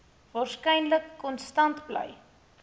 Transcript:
waarskynlik konstant bly